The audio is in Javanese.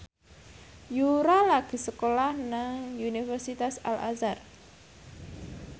Yura lagi sekolah nang Universitas Al Azhar